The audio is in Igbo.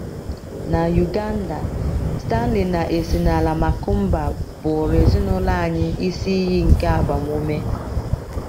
Na Uganda, Stanley na Esinala Makumba bụụrụ ezinụlọ anyị isi iyi nke agbamume